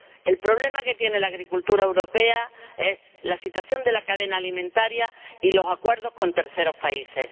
El problema que tiene la agricultura europea es la situación de la cadena alimentaria y los acuerdos con terceros países.